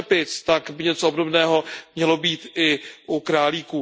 u slepic, tak by něco obdobného mělo být i u králíků.